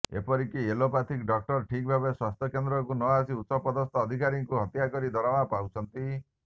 ଏପରିକି ଏଲୋପାଥିକ ଡାକ୍ତର ଠିକ୍ ଭାବରେ ସ୍ୱାସ୍ଥ୍ୟକେନ୍ଦ୍ରକୁ ନଆସି ଉଚ୍ଚପଦସ୍ଥ ଅଧିକାରୀଙ୍କୁ ହାତକରି ଦରମା ପାଉଛନ୍ତି